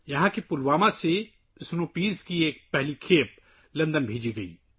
برف کے مٹروں کی پہلی کھیپ پلوامہ سے لندن بھیجی گئی